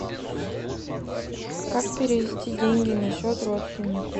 как перевести деньги на счет родственнику